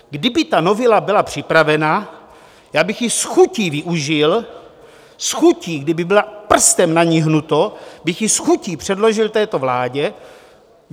Kdyby ta novela byla připravena, já bych ji s chutí využil, s chutí, kdyby bylo prstem na ní hnuto, bych ji s chutí předložil této vládě.